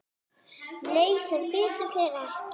Nei sem betur fer ekki.